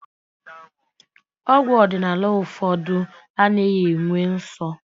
Ọgwụ ọdịnala ụfọdụ anaghị enwe nsọ